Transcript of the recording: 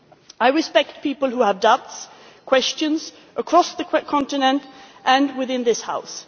I respect people who have doubts and questions, across the continent and within this House.